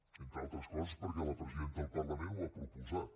entre altres coses perquè la presidenta del parlament ho ha proposat